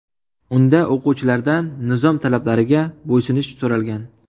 Unda o‘quvchilardan nizom talablariga bo‘ysunish so‘ralgan.